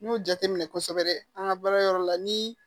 N y'o jateminɛ kosɛbɛ an ka baara yɔrɔ la ni